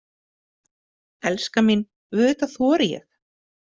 Elskan mín, auðvitað þori ég.